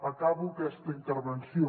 acabo aquesta intervenció